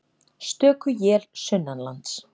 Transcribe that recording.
Stöku él sunnanlands